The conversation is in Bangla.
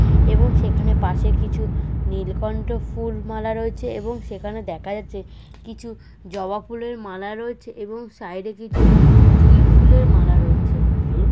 এবং সেখানে পাশে কিছু নীলকন্ঠ ফুল মালা রয়েছে এবং সেখানে দেখা যাচ্ছে কিছু জবা ফুলের মালা রয়েছে এবং সাইডে কিছু জুঁই ফুলের মালা রয়েছে।